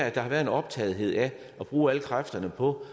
at der har været en optagethed af at bruge alle kræfterne på